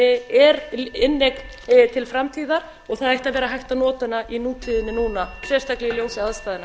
er inneign til framtíðar og það ætti að vera hægt að nota hana í nútíðinni núna sérstaklega í ljósi aðstæðna